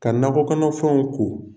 Ka nakɔ kɔnɔfɛnw ko.